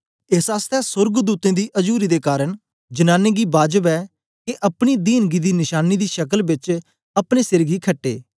एस आसतै सोर्गदूतें दी अजुरी दे कारन जनांनी गी बाजब ऐ के अपनी दीनगी दी नशांनीं दी शकल बेच अपने सिर गी खट्टे